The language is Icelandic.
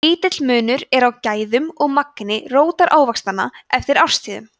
lítill munur er á gæðum eða magni rótarávaxtanna eftir árstíðum